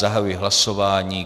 Zahajuji hlasování.